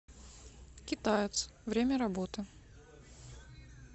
китаец время работы